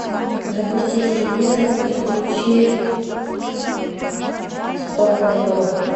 запусти телевизор и включи спортлото